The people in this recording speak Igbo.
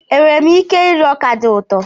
Enwere m ike iri ọka dị ụtọ?